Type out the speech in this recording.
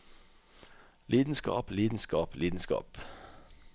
lidenskap lidenskap lidenskap